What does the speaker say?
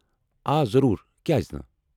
آ، ضرور، کیازٕ نہٕ؟